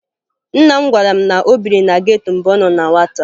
Nna m gwara m na o biri na geto mgbe ọ nọ na nwata